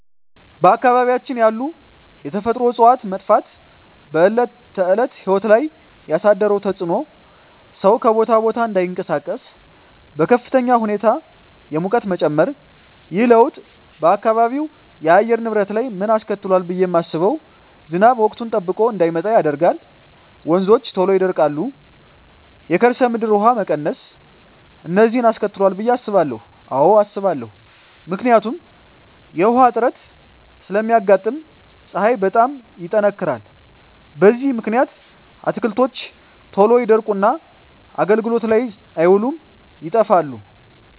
በአካባቢያችን ያሉ የተፈጥሮ እፅዋት መጥፋት በዕለት ተዕለት ሕይወት ላይ ያሣደረው ተፅኖ ሠው ከቦታ ቦታ እዳይንቀሣቀስ፤ በከፍተኛ ሁኔታ የሙቀት መጨመር። ይህ ለውጥ በአካባቢው የአየር ንብረት ላይ ምን አስከትሏል ብየ ማስበው። ዝናብ ወቅቱን ጠብቆ እዳይመጣ ያደርጋል፤ ወንዞች ቶሎ ይደርቃሉ፤ የከርሠ ምድር ውሀ መቀነስ፤ እነዚን አስከትሏል ብየ አስባለሁ። አዎ አስባለሁ። ምክንያቱም ውሀ እጥረት ስለሚያጋጥም፤ ፀሀይ በጣም ይጠነክራል። በዚህ ምክንያት አትክልቶች ቶሎ ይደርቁና አገልግሎት ላይ አይውሉም ይጠፋሉ።